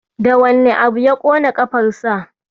Da wane abu ya ƙona ƙafarsa?